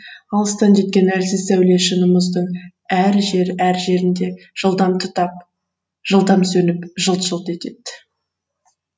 алыстан жеткен әлсіз сәуле шыны мұздың әр жер әр жерінде жылдам тұтап жылдам сөніп жылт жылт етеді